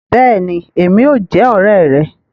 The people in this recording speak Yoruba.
Béèni, Èmí óò jẹ òré rè